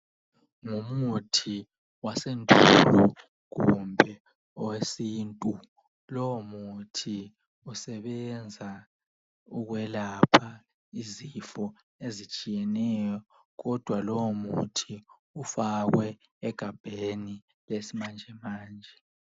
Ngumuthi wasendulo kumbe owesintu lowo muthi usebenza ukwelapha izifo ezitshiyeneyo kodwa lowo muthi ufakwe egabheni lesimanjemanje.